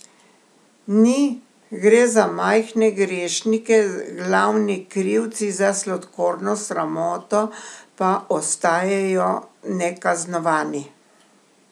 Ni, gre za majhne grešnike, glavni krivci za sladkorno sramoto pa ostajajo nekaznovani!